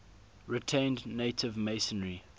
retained native masonry